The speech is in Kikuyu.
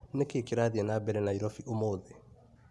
Nĩkĩĩ kĩrathiĩ na mbere Naĩrobĩ ũmũthĩ .